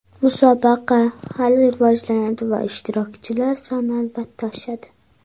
Musobaqa hali rivojlanadi va ishtirokchilar soni albatta oshadi.